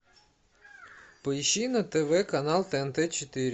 поищи на тв канал тнт четыре